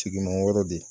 Tigiman wɛrɛ de